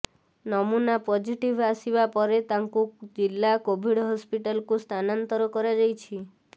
ନୁମନା positive ଆସିବା ପରେ ତାଙ୍କୁ ଜିଲ୍ଲା କୋଭିଡ ହସ୍ପିଟାଲକୁ ସ୍ଥାନାନ୍ତର କରାଯାଇଛି